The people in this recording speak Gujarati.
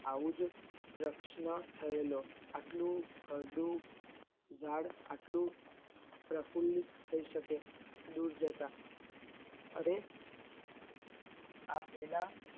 આવીજ એક પ્રશ્ન થયેલો આટલું કરડું જાળ આટલું પ્રફુલ્લિત થઇ શકે દીપ જતા અરે આ પેલા